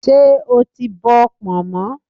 Ṣé o ti bọ pọ̀nmọ́?